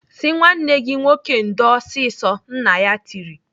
"Sị nwanne gị nwoke ndo ọsịsọ!" Nna ya tiri.